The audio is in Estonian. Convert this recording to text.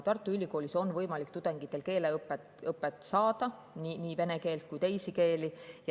Tartu Ülikoolis on võimalik tudengitel keeleõpet saada, nii vene keelt kui ka teisi keeli.